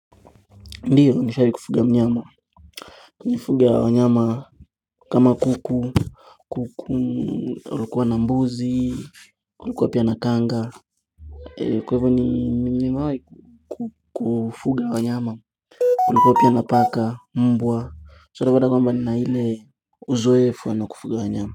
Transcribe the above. Ndio nishawahi kufuga mnyama. Nilifuga wanyama kama kuku, kuku, kulikuwa na mbuzi, kulikuwa pia na kanga Kwa hivyo nimewahi kufuga wanyama. Kulikuwa pia na paka, mbwa, so unaona kwamba nina ile uzoefu wa kufuga wanyama.